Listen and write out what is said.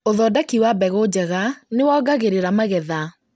ũthondeki wa mbegu njega nĩwongagĩrĩra magetha